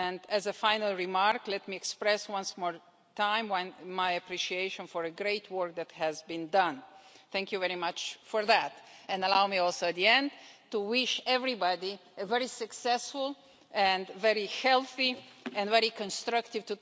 As a final remark, let me express one more time my appreciation for the great work that has been done thank you very much for that, and allow me once again to wish everybody a very successful, very healthy and very constructive